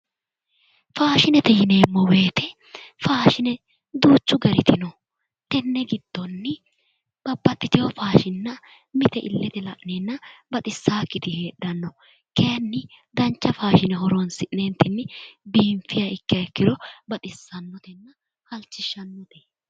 Faashinete yineemmo woyite faashine duuchu garitti no tenne gidonni nabaxitewo faashinna mite illette la'neenna baxisaakitti heedhanno kaayinni dancha faashine horoonsi'neenttinni biinfiha ikiro baxissanotenna halichishannote